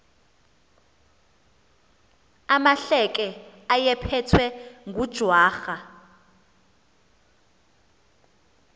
amahleke ayephethwe ngujwarha